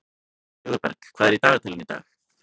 Sigurberg, hvað er í dagatalinu í dag?